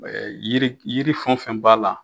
yiri yiri fɛn o fɛn b'a la.